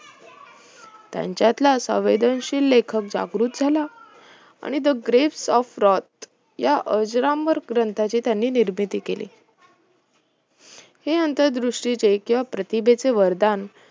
त्यांच्यातील संवेदनशील लेखक जागृत झाला आणि the grace of prot या अजरामर ग्रंथाची त्यांनी निर्मिती केली हे अंतरदृष्टीचे किंवा प्रतिभेचे वरदान